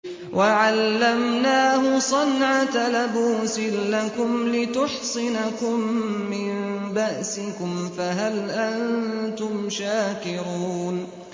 وَعَلَّمْنَاهُ صَنْعَةَ لَبُوسٍ لَّكُمْ لِتُحْصِنَكُم مِّن بَأْسِكُمْ ۖ فَهَلْ أَنتُمْ شَاكِرُونَ